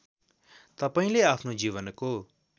तपाईँले आफ्नो जीवनको